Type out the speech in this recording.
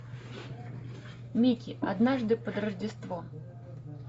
микки однажды под рождество